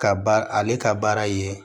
Ka ba ale ka baara ye